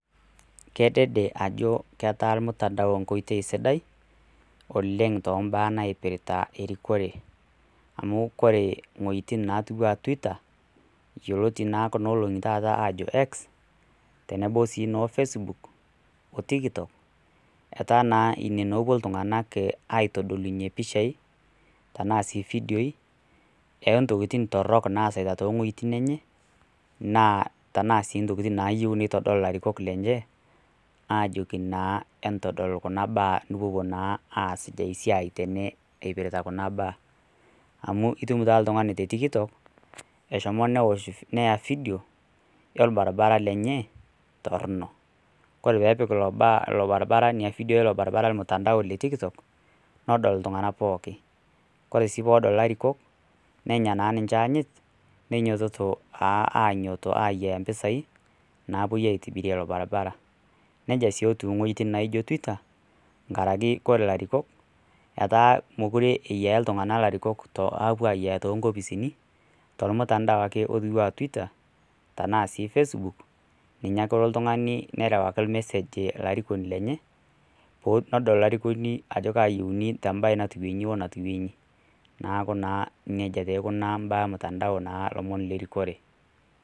Kedede ajo ketaa lmutandao enkoitoi sidai oleng too imbaa naipirita erikore, amu kore iwuetin natiu anaa Twitter yioloti naa taata kuna oloong'i ajo X, tenebo sii noo Facebook, o Tikitok, etaa naa ine wueji epuo iltung'ana aitodolunye pishai, tanaa sii ifidioi oo ntokitin torok nasita too iwuetin enye, naa sii intokin nayiou neiutaki ilarikok lenye ajoki naa entadol kuna baa, nipuopuo naa aas esiai tene eipirta kuna baa, amu itum naa oltung'anite te tikitok eshomo neosh fidio, olbaribaara lenye torno, kore ppee epik nena fidioi eilo baribara olmutandao le Tikikok, nedol iltung'ana pooki, kore sii pee edol ilarikok, nenya naa ninche anyit, neinyoitoto naa ayiaya impisai, naapuoi aitibirie ilo baribara, neija sii etiu iwuetin naijo Twitter, nkaraki ore ilarikok, etaa mekure eyiaya iltung'ana ilarikok epuoi ayiaaya too inkopisini, tolmutandao ake oijoiye aa Twitter, tanaa sii Facebook, ninye elo ake oltung'ani nerewaki olmesej olarikoni lenye, pee edol olarikoni ajo ayieuni te embae naijo natiu inji o natiu inji, neaku naa neija naa eikunaa imbaa olmutandao naa ilomon lerikore.